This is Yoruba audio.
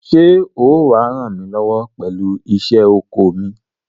Ṣé ó wà á ràn mí lọ́wọ́ pẹ̀lú iṣẹ́ oko mi?